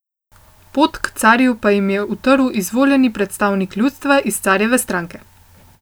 Pot k carju pa jim je utrl izvoljeni predstavnik ljudstva iz carjeve stranke.